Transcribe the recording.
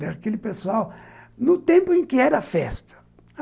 Daquele pessoal, no tempo em que era festa.